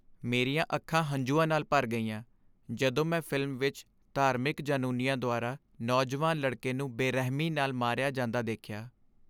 ਮੇਰੀਆਂ ਅੱਖਾਂ ਹੰਝੂਆਂ ਨਾਲ ਭਰ ਗਈਆਂ ਜਦੋਂ ਮੈਂ ਫਿਲਮ ਵਿੱਚ ਧਾਰਮਿਕ ਜਨੂੰਨੀਆਂ ਦੁਆਰਾ ਨੌਜਵਾਨ ਲੜਕੇ ਨੂੰ ਬੇਰਹਿਮੀ ਨਾਲ ਮਾਰਿਆ ਜਾਂਦਾ ਦੇਖਿਆ।